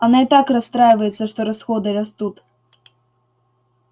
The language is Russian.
она и так расстраивается что расходы растут